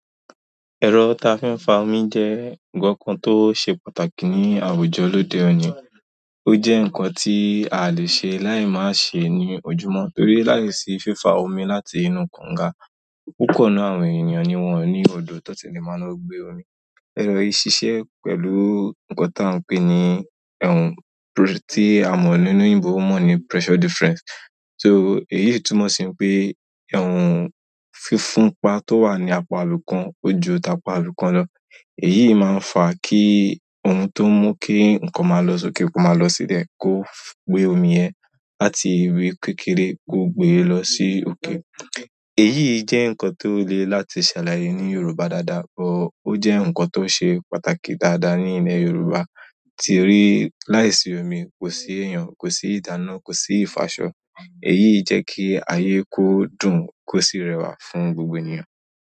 Ẹ̀rọ tá fi ń fa omi jẹ́ nǹkan kan tó ṣe pàtàkì ní àwùjọ lóde òní. Ó jẹ́ ǹkan tí a lè ṣe láì má ṣe ní ojúmọ́ torí láìsí fífa omi láti inú kànga. Púpọ̀ nínú àwọn ènìyàn ni wọ́n ò ní odò tó ti lè máa ń gbé omi. Ẹ̀rọ yìí ṣiṣẹ́ pẹ̀lú ǹkan tí à ń pè ní tí a mọ̀ ní eleyinbo mọ̀ ní pressure difference. So èyí si túmọ̀ sí wipé fífúnpa tó wà ní apá ibi kan ó ju ti apá ibìkan lọ. Èyí máa ń fa kí ohun tó mú kí ǹkan máa lọ sókè ó máa lọ sílẹ̀ kó gbé òmi yẹn láti ibi kékeré kó gbe lọ sí òkè. Eyii je nkan to le láti salaye ni yorùbá dada but o je nkan ti o se pàtàkì dada ni ile yorùbá, torí láìsí omi kosi ìdáná, kosi ifo aṣọ. Èyí jẹ́ kí ayé kó dùn kò sì rẹwà fún gbogbo ènìyàn.